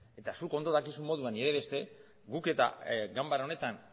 eta zuk ondo dakizun moduan nire beste guk eta ganbara honetan